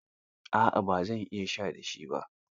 A'a ba zan iya sha da shi ba